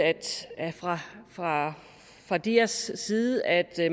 fra fra dias side at